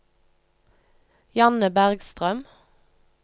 Janne Bergstrøm